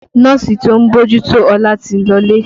Nọ́ọ̀sì tí ń bójú tó Ọlá ti lọlé